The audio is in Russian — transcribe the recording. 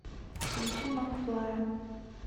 включи макфлая